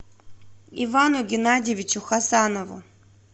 ивану геннадьевичу хасанову